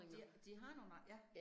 De de har nogle, ja